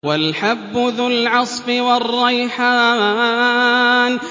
وَالْحَبُّ ذُو الْعَصْفِ وَالرَّيْحَانُ